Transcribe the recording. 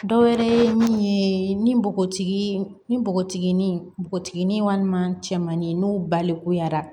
Dɔ wɛrɛ ye min ye ni npogotiginin ni npogotiginin npogotiginin walima cɛmanni n'u balikuyara